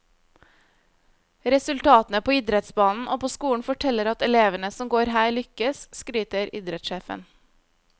Resultatene på idrettsbanen og på skolen forteller at elevene som går her lykkes, skryter idrettssjefen.